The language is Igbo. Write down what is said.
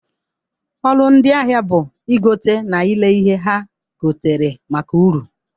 ọrụ ndi ahịa bụ igote na ile ihe ha gotere maka uru.